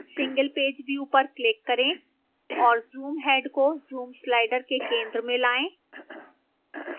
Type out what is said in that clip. single page view पर click करें और zoom head को zoom slider के centre में लाएं